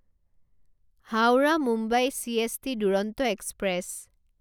Howrah Mumbai CST Duronto express